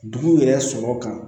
Dugu yɛrɛ sɔrɔ kan